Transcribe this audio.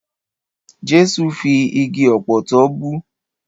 Jẹ́sù fi igi ọ̀pọ̀tọ́ bú.